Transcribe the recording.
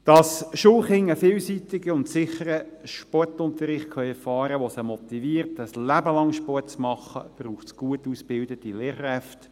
Damit die Schulkinder einen vielseitigen und sicheren Sportunterricht erfahren können, der sie motiviert, ein Leben lang Sport zu treiben, braucht es gut ausgebildete Lehrkräfte.